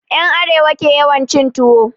En Arewa ke yawan cin tuwo